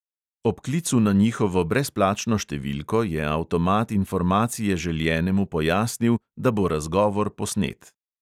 Ob klicu na njihovo brezplačno številko je avtomat informacije željenemu pojasnil, da bo razgovor posnet.